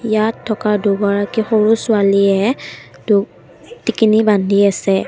ইয়াত থকা দুগৰাকী সৰু ছোৱালীয়ে দু টিকিনি বান্ধি আছে।